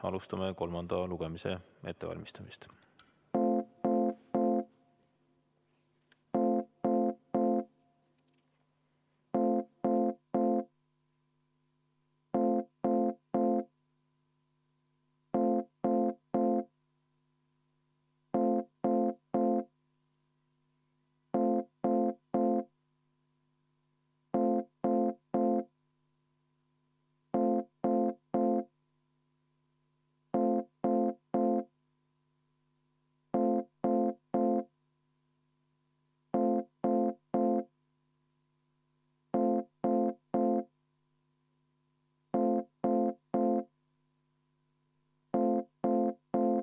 Alustame hääletuse ettevalmistamist.